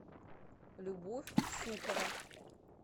любовь сухова